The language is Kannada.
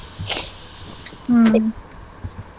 ಹ್ಮ್.